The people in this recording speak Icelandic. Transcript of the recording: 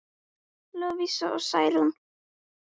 Lovísa og Særún.